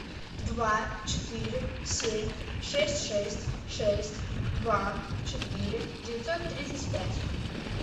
два четыре семь шесть шесть шесть два четыре девятьсот тридцать пять